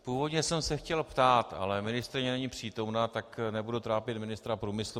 Původně jsem se chtěl ptát, ale ministryně není přítomna, tak nebudu trápit ministra průmyslu.